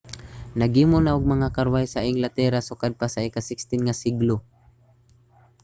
naghimo na og mga karwahe sa inglatera sukad pa sa ika-16 nga siglo